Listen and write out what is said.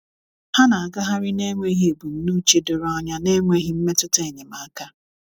ha na agaghari na enweghi ebụmụche dọrọ anya na enweghi mmetụta enyemaka